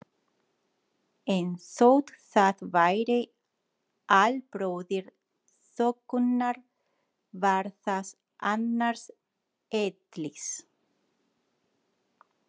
En þótt það væri albróðir þokunnar var það annars eðlis.